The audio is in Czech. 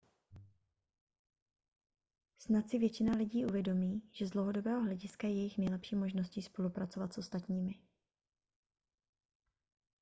snad si většina lidí uvědomí že z dlouhodobého hlediska je jejich nejlepší možností spolupracovat s ostatními